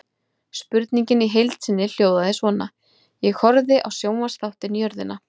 Spurningin í heild sinni hljóðaði svona: Ég horfði á sjónvarpsþáttinn Jörðina.